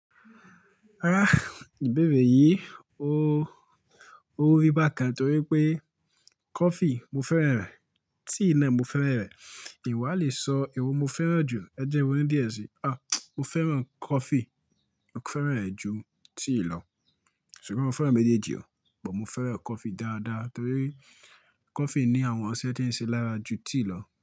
Ìbéèrè yìí ó rí bákan torí pé coffee mo fẹ́ràn rẹ̀, tea náà mo fẹ́ràn rẹ̀. Ì n wa lè sọ èwo mo fẹ́ràn jù, ẹ̀ je kin ronu díẹ̀ sí i. Mo fẹ́ràn coffee, mo fẹ́ràn rẹ̀ ju tea lọ. Ṣùgbọ́n mo fẹ́ràn méjèèjì o, ṣùgbọ́n mo fẹ́ràn coffee dáadáa torí coffee ní àwọn ọṣẹ tí ń ṣe lára ju tea lọ.